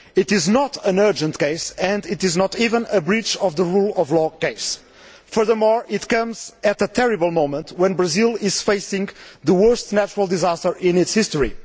It is not an urgent case and it is not even a breach of the Rule of Law' case. Furthermore, it comes at a terrible moment when Brazil is facing the worst natural disaster in its history.